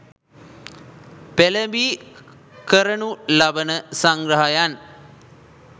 පෙළඹී කරණු ලබන සංග්‍රහයන්